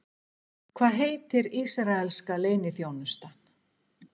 Hvað heitir ísraelska leyniþjónustan?